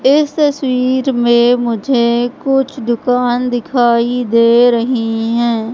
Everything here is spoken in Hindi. इस तस्वीर में मुझे कुछ दुकान दिखाई दे रही हैं।